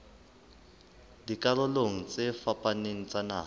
dikarolong tse fapaneng tsa naha